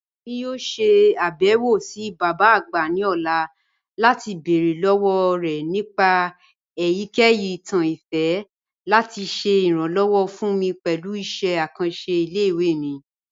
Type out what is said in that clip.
Emi yoo ṣe abẹwo si baba agba ni ọla lati beere lọwọ rẹ nipa eyikeyi itan ifẹ lati ṣe iranlọwọ fun mi pẹlu iṣẹ akanṣe ile-iwe mi.